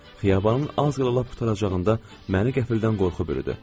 Xiyabanın az qala lap qurtaracağında məni qəfildən qorxu bürüdü.